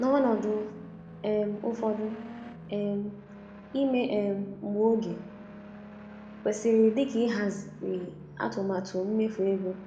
N’ọnọdụ um ụfọdụ, um ime um mgbe oge kwesiri dika ịhazi atụmatụ mmefu ego.